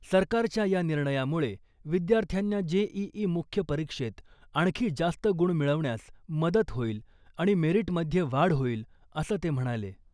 सरकारच्या या निर्णयामुळे विद्यार्थ्यांना जेईई मुख्य परीक्षेत आणखी जास्त गुण मिळवण्यास मदत होईल आणि मेरिटमध्ये वाढ होईल , असं ते म्हणाले .